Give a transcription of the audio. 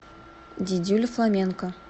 дидюля фламенко